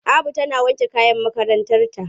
Abu tana wanke kayan makarantarta.